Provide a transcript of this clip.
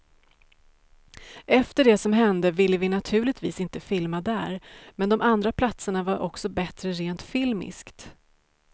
Efter det som hände ville vi naturligtvis inte filma där, men de andra platserna var också bättre rent filmiskt.